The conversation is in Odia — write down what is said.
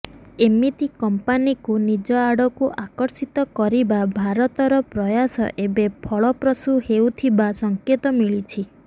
ଏମିତି କମ୍ପାନୀକୁ ନିଜ ଆଡକୁ ଆକର୍ଷିତ କରିବା ଭାରତର ପ୍ରୟାସ ଏବେ ଫଳପ୍ରସୂ ହେଉଥିବା ସଙ୍କେତ ମିଳିଛି